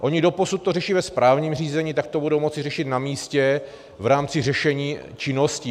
Oni doposud to řeší ve správním řízení, tak to budou moci řešit na místě v rámci řešení činností.